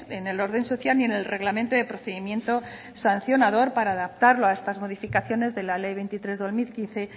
en el orden social y en el reglamento de procedimiento sancionador para adaptarlo a estas modificaciones de la ley veintitrés barra dos mil quince